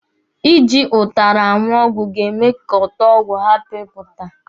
Ị ji ụtara aṅụ ọgwụ ga-eme ka ụtọ ọgwụ hapụ ipụta.